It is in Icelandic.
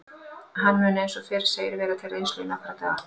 Hann mun eins og fyrr segir vera til reynslu í nokkra daga.